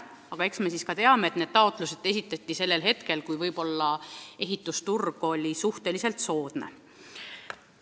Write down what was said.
Aga eks me teame, et need taotlused esitati ajal, kui ehitusturg oli suhteliselt soodne.